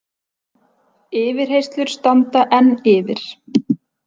Yfirheyrslur standa enn yfir